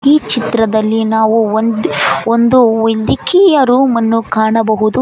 ಈ ಚಿತ್ರದಲ್ಲಿ ನಾವು ಒಂದು ಒಂದು ಇಲ್ಲಿ ಕೀ ಯ ರೂಮ್ ಅನ್ನು ಕಾಣಬಹುದು.